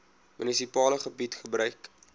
munisipale gebied gebruik